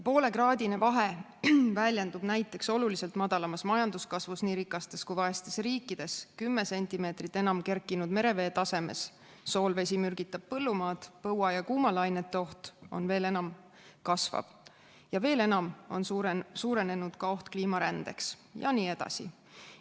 Poolekraadine vahe väljendub näiteks oluliselt madalamas majanduskasvus nii rikastes kui vaestes riikides, 10 sentimeetrit enam kerkinud merevee tasemes, soolvesi mürgitab põllumaad, põua ja kuumalainete oht kasvab veel enam ja veel enam on suurenenud oht kliimarändeks jne.